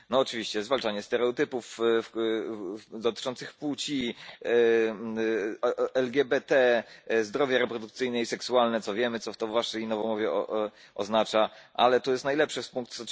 No oczywiście zwalczanie stereotypów dotyczących płci, LGBT, zdrowie reprodukcyjne i seksualne, co wiemy, co to w waszej nowomowie oznacza, ale to jest najlepsze, pkt.